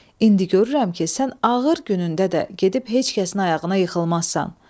İndi görürəm ki, sən ağır günündə də gedib heç kəsin ayağına yıxılmazsan.